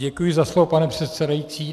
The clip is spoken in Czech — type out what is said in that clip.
Děkuji za slovo, pane předsedající.